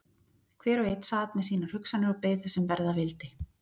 Hver og einn sat með sínar hugsanir og beið þess sem verða vildi.